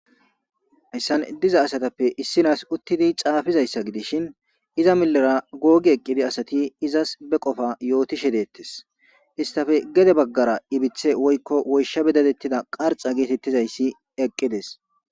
Hayssan diza asatappe issinas uttidi caafizayssa gidishin iza milera googi eqqidi asati izas be qofa yootishe deettes istafe gede baggara ibithe woykko woysha bedatettida qarxa geetettizayssi eqqides.